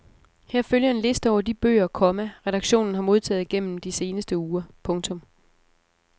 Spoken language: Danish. Her følger en liste over de bøger, komma redaktionen har modtaget gennem de seneste uger. punktum